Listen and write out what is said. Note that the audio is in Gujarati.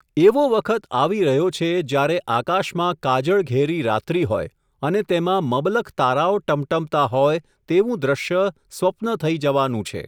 એવો વખત આવી રહ્યો છે, જ્યારે આકાશમાં કાજળઘેરી રાત્રિ હોય, અને તેમાં મબલખ તારાઓ ટમટમતા હોય, તેવું દ્રશ્ય સ્વપ્ન થઈ જવાનું છે.